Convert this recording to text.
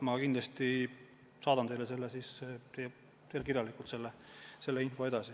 Ma kindlasti saadan teile kirjalikult selle info edasi.